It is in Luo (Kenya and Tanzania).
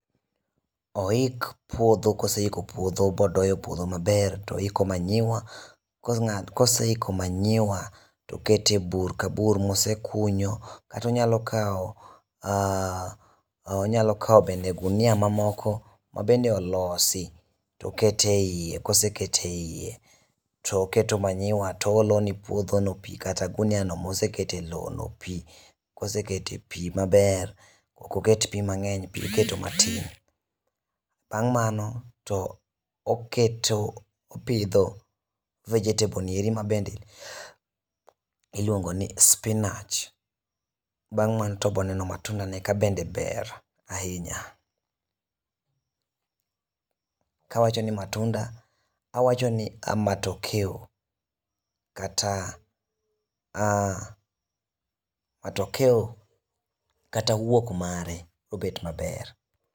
Oik puodho ,koseiko puodho bodoyo puodho maber to oiko manyiwa, koseiko manyiwa to oket e bur ka bur mosekunyo kata onyalo kawo bende gunia mamoko mabende olosi to oketo e iye. Koseketo e iye toketo manyiwa to oolo ne puodhono pi kata guniano mosekete lowono pi, kosekete pi maber ,ok oket pi mang'eny, pi oketo matin. Bang' mano to oketo ,opidho vegetable ni eri mabende iluongo ni spinach, bang' mano to oboneno matunda ne kabende ber ahinya. Kawacho ni ka matokea kata wuok mare obed maber .